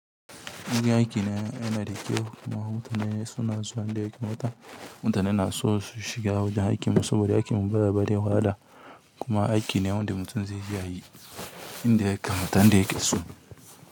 Wurin aiki na, yana da kyau kuma mutane suna zuwa inda yanda ya kamata. Mutane na so su shiga wajen aikin mu saboda aikin mu baya bada wahala kuma aiki ne wanda mutum zai iya yi, inda yake, mutum inda yake so.